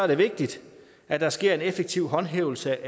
det vigtigt at der sker en effektiv håndhævelse